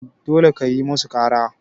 dole kayi musu kara